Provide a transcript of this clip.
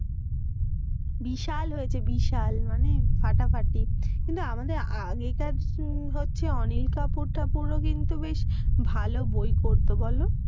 বিশাল হয়েছে বিশাল মানে ফাটাফাটি। কিন্তু আমাদের আগেকার হচ্ছে অনিল কাপুর টাপুর ও কিন্তু বেশ ভালো বই করতো বলো?